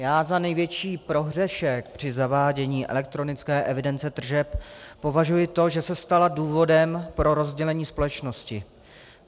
Já za největší prohřešek při zavádění elektronické evidence tržeb považuji to, že se stala důvodem pro rozdělení společnosti.